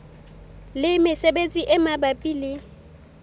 le mesebetsi e mabapi le